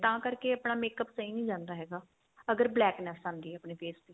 ਤਾਂ ਕਰਕੇ ਆਪਣਾ makeup ਸਹੀ ਨਹੀਂ ਲੱਗਦਾ ਹੈਗਾ ਅਗਰ blackness ਆਂਦੀ ਏ ਆਪਣੇ face ਤੇ